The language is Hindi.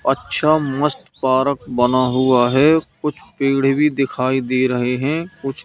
अच्छा मस्त पारक बना हुआ है कुछ पेड़े भी दिखाई दे रहे हैं कुछ--